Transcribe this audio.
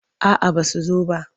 A'aba su zo ba.